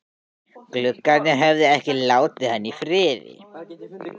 Gluggarnir höfðu ekki látið hann í friði.